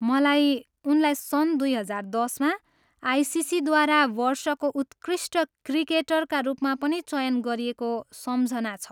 मलाई उनलाई सन् दुई हजार दसमा आइसिसीद्वारा वर्षको उत्कृष्ट क्रिकेटरका रूपमा पनि चयन गरिएको सम्झना छ।